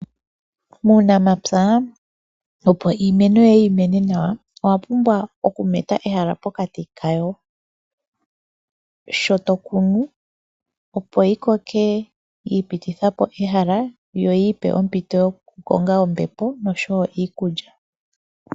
Muunamapya opo iimeno yoye yi mene nawa owa pumbwa okumeta ehala pokati kayo sho to kunu, opo ti koke ya ipititha po ehala yo yi ipe ehala lyokukonga ombepo noshowo iikulya.